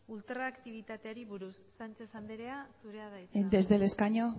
ultraaktibitateari buruz sánchez andrea zurea da hitza desde el escaño